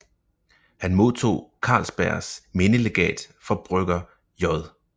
Han modtog Carlsbergs Mindelegat for Brygger J